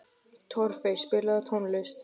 Torfey, spilaðu tónlist.